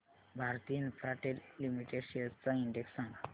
Bharti Infratel limited shares चा index सांगा